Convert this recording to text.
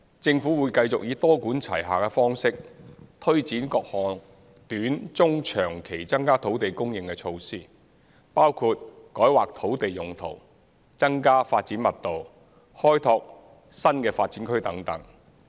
政府會繼續以多管齊下的方式，推展各項短、中、長期增加土地供應的措施，包括改劃土地用途、增加發展密度、開拓新發展區等。